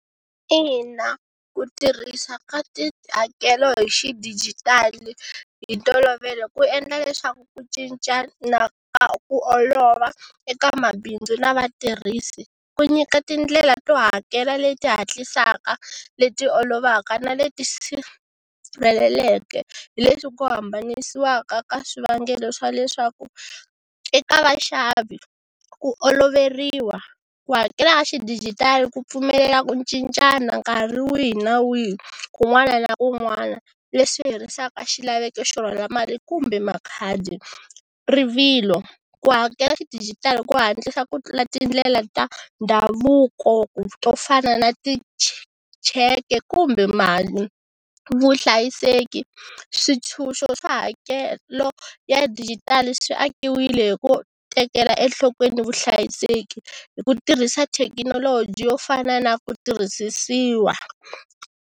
Ina ku tirhisa ka tihakelo hi xidijitali hi ntolovelo ku endla leswaku ku cincana ku olova eka mabindzu na vatirhisi, ku nyika tindlela to hakela leti hatlisaka, leti olovaka, na leti sirheleleke hi leswi ku hambananisiwaka ka swivangelo swa leswaku eka vaxavi ku oloveriwa, ku hakela ya xidijitali ku pfumelela ku cincana nkarhi wihi na wihi kun'wana na kun'wana, leswi herisaka xilaveko xo rhwala mali kumbe makhadi. Rivilo, ku hakela xidijitali ku hatlisa ku tindlela ta ndhavuko to fana na ti cheke kumbe mali. Vuhlayiseki, swintshunxo swa hakelo ya dijitali swi akiwile hi ku tekela enhlokweni vuhlayiseki hi ku tirhisa thekinoloji yo fana na ku tirhisisiwa.